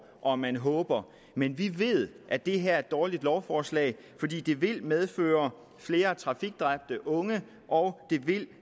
og at man håber men vi ved at det her er et dårligt lovforslag fordi det vil medføre flere trafikdræbte unge og det vil